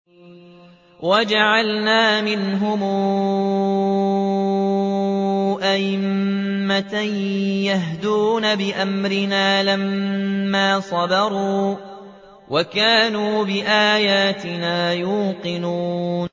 وَجَعَلْنَا مِنْهُمْ أَئِمَّةً يَهْدُونَ بِأَمْرِنَا لَمَّا صَبَرُوا ۖ وَكَانُوا بِآيَاتِنَا يُوقِنُونَ